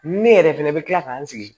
Ne yɛrɛ fɛnɛ bɛ kila k'an sigi